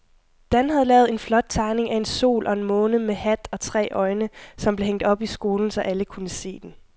Dan havde lavet en flot tegning af en sol og en måne med hat og tre øjne, som blev hængt op i skolen, så alle kunne se den.